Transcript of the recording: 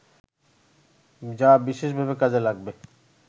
যা বিশেষভাবে কাজে লাগবে